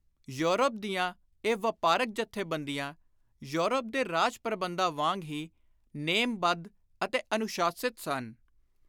Europe ਦੀਆਂ ਇਹ ਵਾਪਾਰਕ ਜਥੇਬੰਦੀਆਂ ਯੌਰਪ ਦੇ ਰਾਜ ਪ੍ਰਬੰਧਾਂ ਵਾਂਗ ਹੀ ਨੇਮ-ਬੱਧ ਅਤੇ ਅਨੁਸ਼ਾਸਿਤ ਸਨ।